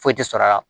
Foyi tɛ sɔrɔ a la